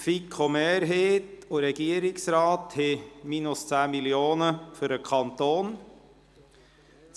Die FiKo-Mehrheit und der Regierungsrat sehen ein Minus von 10 Mio. Franken für den Kanton vor;